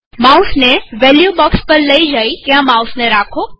માઉસને વેલ્યુકિંમત બોક્ષ પર લઇ જાઓ અને ત્યાં માઉસને રાખો